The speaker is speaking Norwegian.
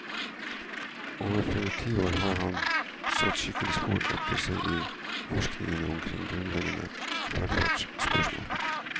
Over flere tiår har han satt skikkelig spor etter seg i forskningen omkring grunnleggende velferdsspørsmål.